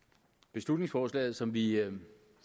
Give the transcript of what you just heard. beslutningsforslaget som vi